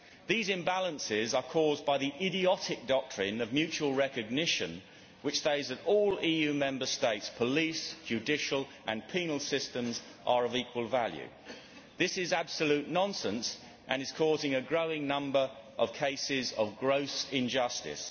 These imbalances are caused by the idiotic doctrine of mutual recognition which states that all EU Member Statesʼ police, judicial and penal systems are of equal value. This is absolute nonsense and is causing a growing number of cases of gross injustice.